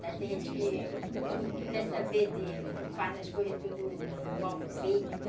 Tem gente que não quer saber de... Faz as coisas tudo mal feitas.